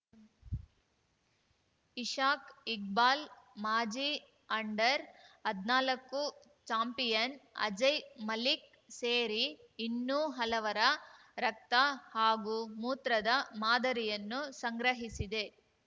ಇಶಾಕ್‌ ಇಕ್ಬಾಲ್‌ ಮಾಜಿ ಅಂಡರ್‌ಹದ್ನಾಲ್ಕು ಚಾಂಪಿಯನ್‌ ಅಜಯ್‌ ಮಲಿಕ್‌ ಸೇರಿ ಇನ್ನೂ ಹಲವರ ರಕ್ತ ಹಾಗೂ ಮೂತ್ರದ ಮಾದರಿಯನ್ನು ಸಂಗ್ರಹಿಸಿದೆ